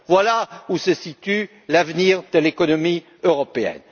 Voilà où se situe l'avenir de l'économie européenne.